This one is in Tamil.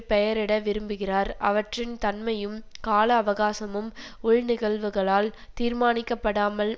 பெயரிட விரும்புகிறார் அவற்றின் தன்மையும் கால அவகாசமும் உள் நிகழ்வுகளால் தீர்மானிக்கப்படாமல்